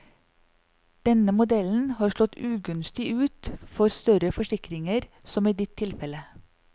Denne modellen har slått ugunstig ut for større forsikringer som i ditt tilfelle.